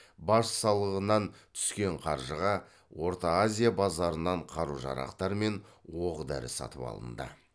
баж салығынан түскен қаржыға орта азия базарынан қару жарақтар мен оқ дәрі сатып алынды